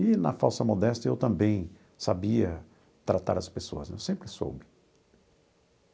E na falsa modéstia eu também sabia tratar as pessoas né, eu sempre soube.